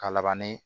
Ka labanni